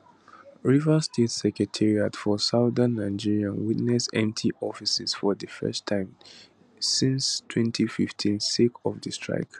rivers state secretariat for southern nigeria witness empty offices for di first time time since 2015 sake of di strike